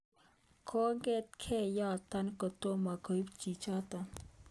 Kongetkei yotok kotomo kobit chichotok.